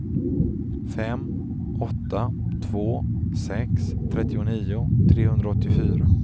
fem åtta två sex trettionio trehundraåttiofyra